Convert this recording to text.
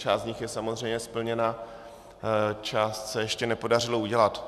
Část z nich je samozřejmě splněna, část se ještě nepodařilo udělat.